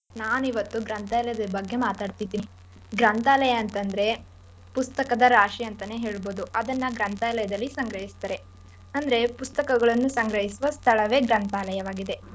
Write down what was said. ನಾನ್ ಇವತ್ತು ಗ್ರಂಥಾಲಯದ್ ಬಗ್ಗೆ ಮಾತಾಡ್ತಿದಿನಿ. ಗ್ರಂಥಾಲಯ ಅಂತಂದ್ರೆ ಪುಸ್ತಕದ ರಾಶಿ ಅಂತಾನೆ ಹೇಳ್ಬಹುದು ಅದನ್ನ ಗ್ರಂಥಾಲಯ್ದಲ್ಲಿ ಸಂಗ್ರಹಿಸ್ತಾರೆ ಅಂದ್ರೆ ಪುಸ್ತಕಗಳನ್ನು ಸಂಗ್ರಹಿಸುವ ಸ್ಥಳವೇ ಗ್ರಂಥಾಲಯವಾಗಿದೆ.